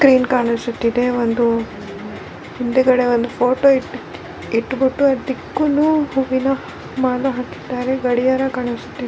Crane ಕಾಣಿಸುತ್ತಿದೆ ಒಂದು ಹಿಂದುಗಡೆ ಒಂದು ಫೊಟೊ ಇಟ್ಟುಬಿಟ್ಟು ಅದುಕ್ಕುನು ಹೂವಿನ ಮಾಲೆ ಹಾಕಿದಾರೆ ಗಡಿಯಾರ ಕಾಣಿಸುತ್ತಿದೆ.